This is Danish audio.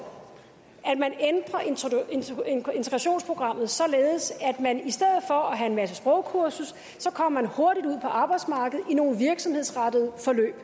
at man ændrer integrationsprogrammet således at man at have en masse sprogkursus kommer hurtigt ud på arbejdsmarkedet i nogle virksomhedsrettede forløb